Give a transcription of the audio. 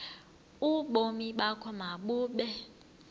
ubomi bakho mabube